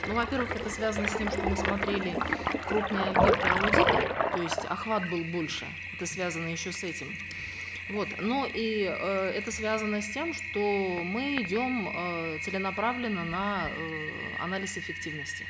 ну во первых это связано с тем что мы смотрели крупные объекты аудита то есть охват был больше это связано еще с этим вот но и э это связано с тем что мы идем э целенаправленно на э анализ эффективности